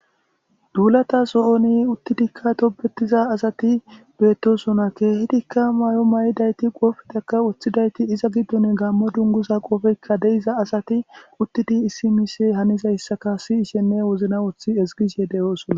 Dullatha sohon uttidikka tobethiza assathi bethosonna. Kehidikka mayo miyidaythi qophekka wothidaytti izza gidinkka gammo dunguzza qophekka dei'zza assathikka uttidi issi mishshe hanizaytti sishene wozanan wothi ezgishe deo'ssonna.